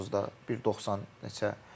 Tovuzda 1.90 neçə.